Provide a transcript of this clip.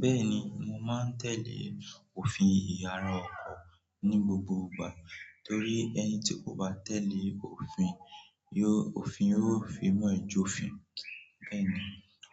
Bẹ́ẹ̀ni, mo máa ń tẹ̀lé òfin ìyàrá ọkọ̀ ní gbogbo ìgbà torí ẹni tí kò bá tẹ̀lé òfin yó, òfin yóò fi imú ẹ jófin. Bẹ́ẹ̀ ni,